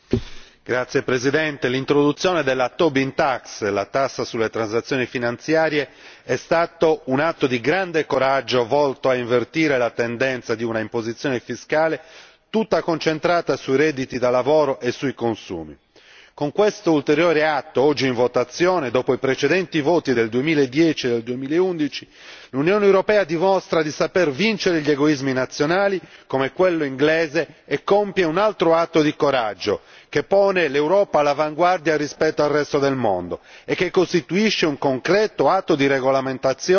Signor Presidente, onorevoli colleghi, l'introduzione della Tobin tax, la tassa sulle transazioni finanziarie, è stata un atto di grande coraggio volto a invertire la tendenza di un'imposizione fiscale tutta concentrata sui redditi da lavoro e sui consumi. Con questo ulteriore atto, oggi in votazione, dopo i precedenti voti del 2010 e del 2011, l'Unione europea dimostra di saper vincere gli egoismi nazionali, come quello inglese, e compie un altro atto di coraggio che pone l'Europa all'avanguardia rispetto al resto del mondo e che costituisce un concreto atto di regolamentazione